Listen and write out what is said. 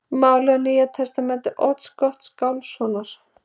Málið á Nýja testamenti Odds Gottskálkssonar.